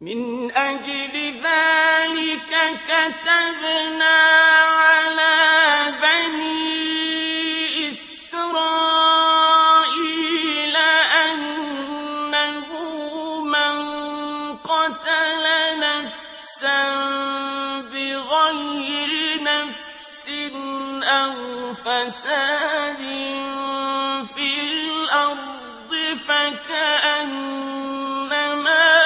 مِنْ أَجْلِ ذَٰلِكَ كَتَبْنَا عَلَىٰ بَنِي إِسْرَائِيلَ أَنَّهُ مَن قَتَلَ نَفْسًا بِغَيْرِ نَفْسٍ أَوْ فَسَادٍ فِي الْأَرْضِ فَكَأَنَّمَا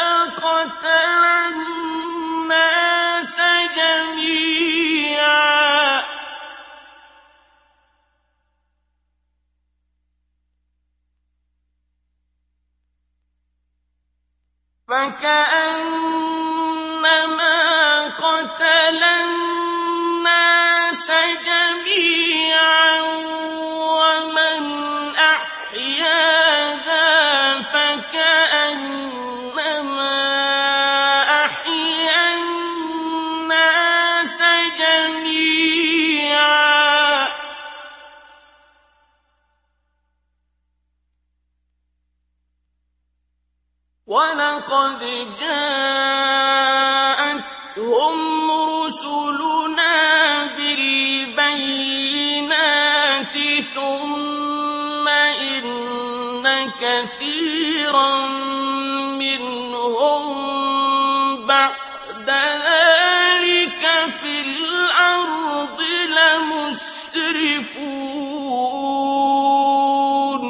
قَتَلَ النَّاسَ جَمِيعًا وَمَنْ أَحْيَاهَا فَكَأَنَّمَا أَحْيَا النَّاسَ جَمِيعًا ۚ وَلَقَدْ جَاءَتْهُمْ رُسُلُنَا بِالْبَيِّنَاتِ ثُمَّ إِنَّ كَثِيرًا مِّنْهُم بَعْدَ ذَٰلِكَ فِي الْأَرْضِ لَمُسْرِفُونَ